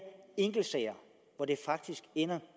enkeltsager hvor det faktisk ender